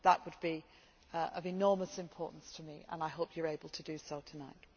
That would be of enormous importance to me and I hope you are able to do so tonight.